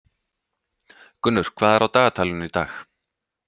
Gunnur, hvað er á dagatalinu í dag?